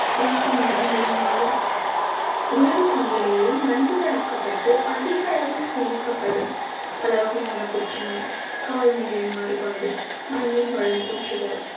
பூச்சி மருந்துகளினாலும் உணவு சங்கிலியில், நஞ்சுகளாக்கப்பட்டு அதிக அளவில் சேமிக்கப்படும் பல வகையான புற்றுநோய் காலநிலை மாறுபாடு மண்ணின் வளம் குன்றுதல்